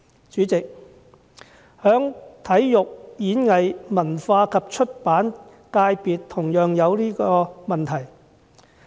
主席，體育、演藝、文化及出版界別同樣有這問題。